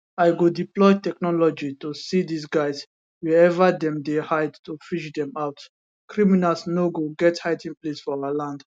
i go deploy technology to see dis guys wherever dem dey hide to fish dem out criminals no go get hiding place for our land